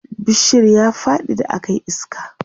bishiyar ya Faɗi da akayi iska